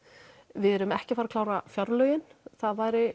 við erum ekki að fara að klára fjárlögin það væri